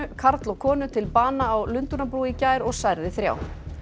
karl og konu til bana á Lundúnabrú í gær og særði þrjá